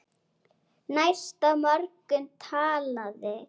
Næsta morgun talaði